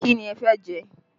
Kí ni ẹ fẹ́ jẹ?